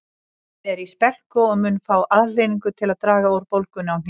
Hann er í spelku og mun fá aðhlynningu til að draga úr bólgunni á hnénu